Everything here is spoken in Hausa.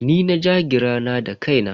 Ni na ja gira na da kaina.